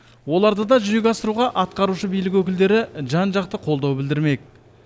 оларды да жүзеге асыруға атқарушы билік өкілдері жан жақты қолдау білдірмек